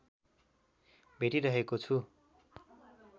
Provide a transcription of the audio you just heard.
भेटिरहेको छु